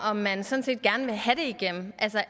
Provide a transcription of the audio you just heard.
om man sådan set gerne vil have det igennem